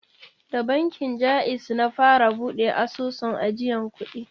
Da bankin Ja'iz na fara buɗe asusun ajiyan kuɗi.